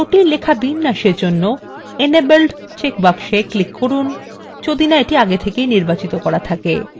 জটিল লেখা বিন্যাসের জন্য enabled check box এ click করুন যদি না আগে থেকে সেটি নির্বাচিত করা থাকে